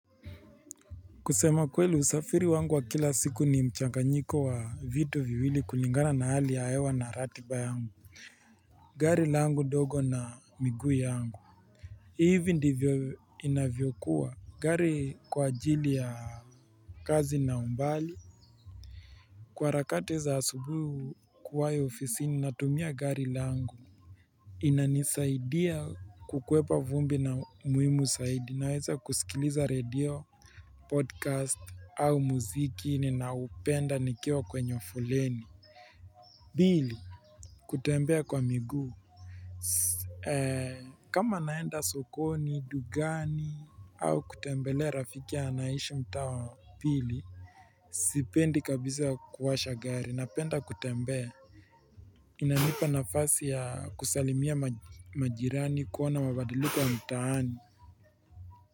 Kusema kweli usafiri wangu wa kila siku ni mchanganyiko wa vitu viwili kulingana na hali ya hewa na ratiba yangu gari langu ndogo na miguu yangu. Hivi ndivyo inavyokuwa gari kwa ajili ya kazi na umbali Kwa harakati za asubuhi kuwayo ofisi ni natumia gari langu inanisaidia kukuwepa vumbi na muhimu zaidi naweza kusikiliza radio, podcast au muziki ninaupenda nikiwa kwenye foleni. Pili. Kutembea kwa miguu. Kama naenda sokoni, dukani au kutembele rafiki ya anayeishi mtaa wa pili. Sipendi kabisa kuwasha gari na penda kutembea. Inanipa nafasi ya kusalimia majirani kuona mabadiliko ya mtaani.